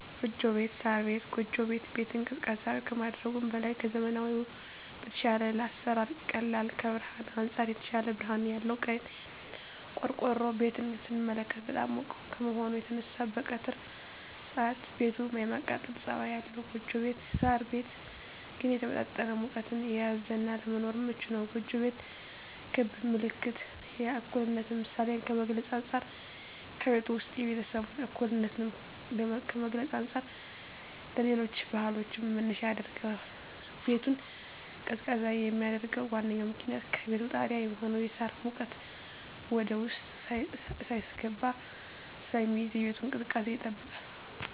ጎጆ ቤት(ሳር ቤት)። ጎጆ ቤት ቤትን ቀዝቃዛ ከማድረጉም በላይ ከዘመናዊዉ በተሻለ ለአሰራር ቀላል ከብርሀንም አንፃር የተሻለ ብርሀን ያለዉ ነዉ። ቆርቆሮ ቤትን ስንመለከት በጣም ሙቅ ከመሆኑ የተነሳ በቀትር ሰአት ቤቱ የማቃጠል ፀባይ አለዉ ጎጆ ቤት (ሳር ቤት) ግን የተመጣጠነ ሙቀትን የያዘ እና ለመኖርም ምቹ ነዉ። ጎጆ ቤት ክብ ምልክት የእኩልነት ምሳሌን ከመግልፁ አንፃ ከቤቱ ዉስጥ የቤተሰቡን እኩልነት ከመግለፅ አንፃር ለሌሎች ባህሎችም መነሻ ያደርገዋል። ቤቱን ቀዝቃዛ የሚያደርገዉ ዋነኛዉ ምክንያት ከቤቱ ጣሪያ የሚሆነዉ የሳር ሙቀት ወደዉስጥ ሳይስገባ ስለሚይዝ የቤቱን ቅዝቃዜ ይጠብቃል።